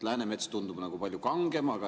Läänemets tundub nagu palju kangem.